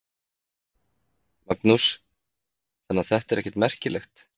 Magnús: Þannig að þetta er ekkert merkilegt?